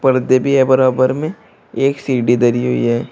पर्दे भी हैं बराबर में एक सीढ़ी धरी हुई है।